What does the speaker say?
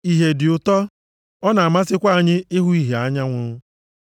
Ìhè dị ụtọ, ọ na-amasịkwa anya ịhụ ìhè anyanwụ.